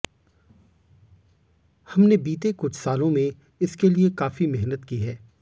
हमने बीते कुछ सालों में इसके लिए काफी मेहनत की है